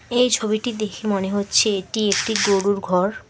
এই ছবিটি দেখে মনে হচ্ছে এটি একটি গরুর ঘর।